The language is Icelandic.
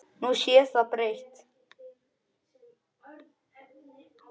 Nú sé það breytt.